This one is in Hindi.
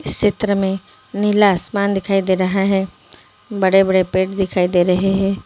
इस चित्र में नीला आसमान दिखाई दे रहा है बड़े-बड़े पेड़ दिखाई दे रहे हैं।